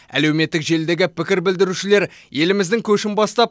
әлеуметтік желідегі пікір білдірушілер еліміздің көшін бастап